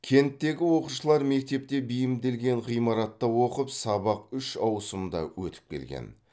кенттегі оқушылар мектепке бейімделген ғимаратта оқып сабақ үш ауысымда өтіп келген